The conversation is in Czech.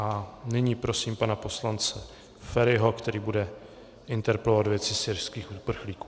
A nyní prosím pana poslance Feriho, který bude interpelovat věci syrských uprchlíků.